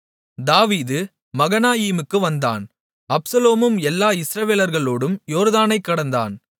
தாவீது மகனாயீமுக்கு வந்தான் அப்சலோமும் எல்லா இஸ்ரவேலர்களோடும் யோர்தானைக் கடந்தான்